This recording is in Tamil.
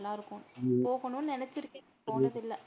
நல்லா இருக்கும் போகணும்னு நினைச்சு இருக்கேன் போனதில்லை.